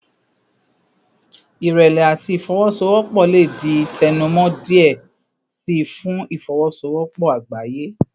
Irẹlẹ ati ifowosowopo le di tẹnumọ diẹ sii fun ifowosowopo agbaye